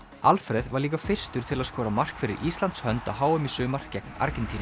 Alfreð var líka fyrstur til að skora mark fyrir Íslands hönd á h m í sumar gegn Argentínu